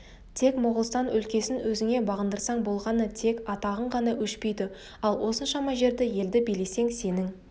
тек моғолстан өлкесін өзіңе бағындырсаң болғаны тек атағың ғана өшпейді ал осыншама жерді елді билесең сенің